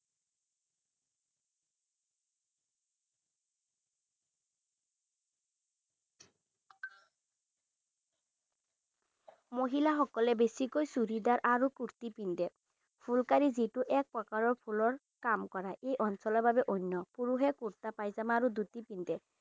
মহিলাসকলে বেছিকৈ চুড়িদাৰ আৰু কুৰ্টি পিন্ধে ফুলকাৰী যিটো এক প্ৰকাৰৰ ফুলৰ কাম কৰাই এই অঞ্চলৰ বাবে অন্য পুৰুষে কুৰ্টা পায়জামা আৰু ধুতি পিন্ধে